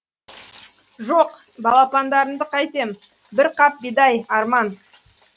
жоқ балапандарымды қайтем бір қап бидай арман